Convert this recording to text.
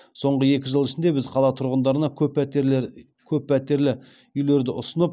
соңғы екі жыл ішінде біз қала тұрғындарына көппәтерлі үйлерді ұсынып